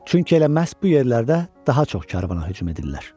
Çünki elə məhz bu yerlərdə daha çox karvana hücum edirlər.